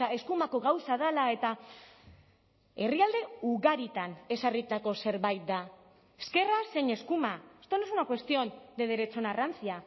eskumako gauza dela eta herrialde ugaritan ezarritako zerbait da ezkerra zein eskuma esto no es una cuestión de derechona rancia